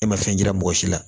E ma fɛn yira mɔgɔ si la